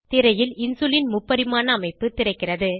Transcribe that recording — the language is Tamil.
திரையில் இன்சுலின் முப்பரிமாண அமைப்பு திறக்கிறது